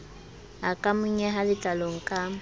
a ka monyeha letlalong ka